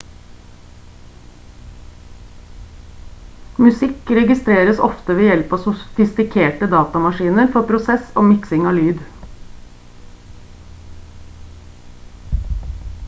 musikk registreres ofte ved hjelp av sofistikerte datamaskiner for prosess og miksing av lyd